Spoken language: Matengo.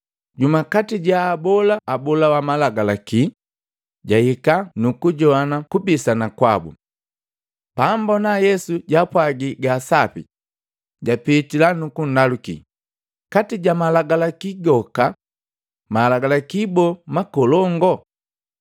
Jumu kati jaabola abola wa malagalaki jahika, nukujoana kubisana kwabu. Paambona Yesu jaapwagi gasapi, japitila nukundaluki, “Kati ja malagi goka malagalaki boo makolongo?”